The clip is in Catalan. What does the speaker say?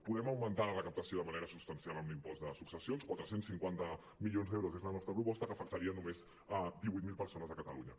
podem augmentar la recaptació de manera substancial amb l’impost de successions quatre cents i cinquanta milions d’euros és la nostra proposta que afectaria només a divuit mil persones a catalunya